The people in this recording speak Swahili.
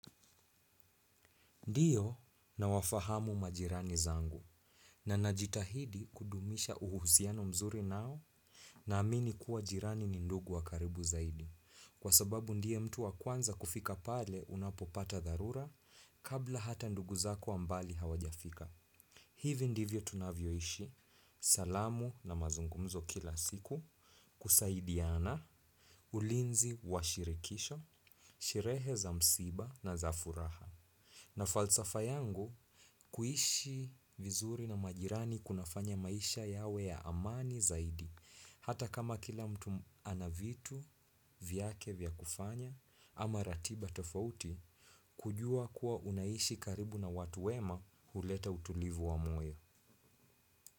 Ndiyo na wafahamu majirani zangu na najitahidi kudumisha uhuhusiano mzuri nao na amini kuwa jirani ni ndugu wakaribu zaidi kwa sababu ndiye mtu wa kwanza kufika pale unapopata dharura kabla hata ndugu zako wa mbali hawajafika. Hivi ndivyo tunavyoishi salamu na mazungumzo kila siku kusaidiana ulinzi wa shirikisho sherehe za msiba na za furaha. Na falsafa yangu, kuishi vizuri na majirani kunafanya maisha yawe ya amani zaidi, hata kama kila mtu anavitu vyake vyakufanya ama ratiba tofauti, kujua kuwa unaishi karibu na watu wema huleta utulivu wa moyo.